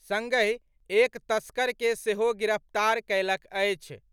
संगहि एक तस्कर के सेहो गिरफ्तार कयलक अछि।